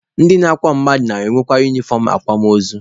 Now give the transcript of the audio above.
Ndị na-akwa mmadụ na-enweka unifọm akwamaozu.